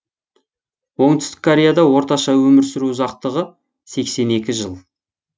оңтүстік кореяда орташа өмір сүру ұзақтығы сексен екі жыл